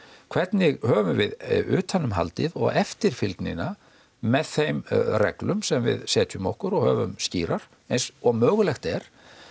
hvernig höfum við utan um haldið og eftirfylgnina með þeim reglum sem við setjum okkur og höfum skýrar eins og mögulegt er